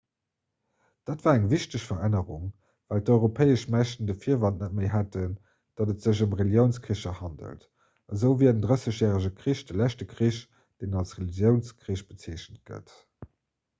dat war eng wichteg verännerung well d'europäesch mächten de virwand net méi hätten datt et sech ëm reliounskricher handelt esou wier den drëssegjärege krich de leschte krich deen als reliounskrich bezeechent gëtt